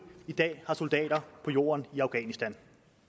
i dag har soldater på jorden i afghanistan